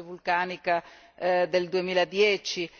la nube vulcanica del 2010